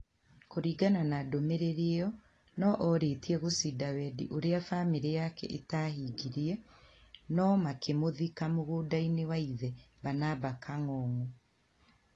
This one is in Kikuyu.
Kũringana na ndũmĩrĩri ĩo, no orĩtie gũcinda-wendi ũrĩa bamirĩ yake ĩtahingirie, no makimũthika mugunda-inĩ wa ithe Barnaba Kangogo.